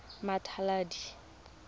mmatladi